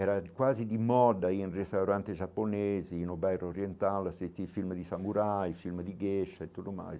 Era quase de moda aí em restaurantes japoneses, no bairro oriental, assisti filmes de samurai, filmes de geisha e tudo mais.